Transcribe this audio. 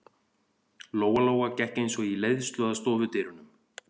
Lóa-Lóa gekk eins og í leiðslu að stofudyrunum.